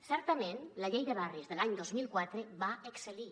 certament la llei de barris de l’any dos mil quatre va excel·lir